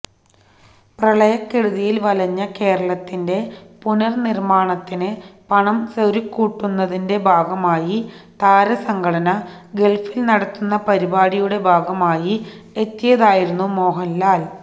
പ്രളയക്കെടുതിയില് വലഞ്ഞ കേരളത്തിന്റെ പുനര്നിർമ്മാണത്തിന് പണം സ്വരുക്കൂട്ടുന്നതിന്റെ ഭാഗമായി താരസംഘടന ഗള്ഫില് നടത്തുന്ന പരിപാടിയുടെ ഭാഗമായി എത്തിയതായിരുന്നു മോഹന്ലാല്